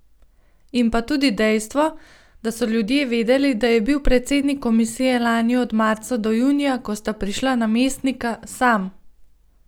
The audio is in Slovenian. In pa tudi dejstvo, da so ljudje vedeli, da je bil predsednik komisije lani od marca do junija, ko sta prišla namestnika, sam.